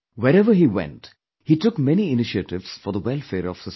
Wherever he went, he took many initiatives for the welfare of the society